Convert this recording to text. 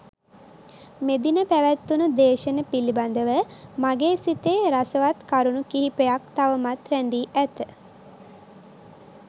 මෙදින පැවත්වුනු දේශන පිළිබඳව මගේ සිතේ රසවත් කරුණු කිහිපයක් තවමත් රැඳී ඇත.